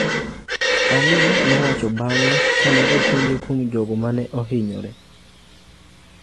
Ali nowacho bang'e kane openje kuom jogo ma ne ohinyore.